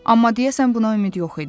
Amma deyəsən buna ümid yox idi.